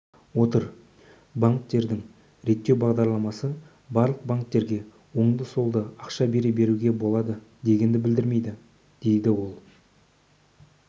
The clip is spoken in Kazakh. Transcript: отыр банктердің реттеу бағдарламасы барлық банктерге оңды-солды ақша бере беруге болады дегенді білдірмейді дейді ол